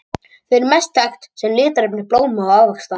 Þau eru best þekkt sem litarefni blóma og ávaxta.